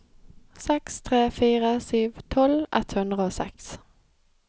seks tre fire sju tolv ett hundre og seks